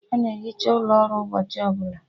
A na-ehicha ụlọ ọrụ ụbọchị ọbụla